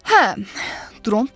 Hə, Dront dedi.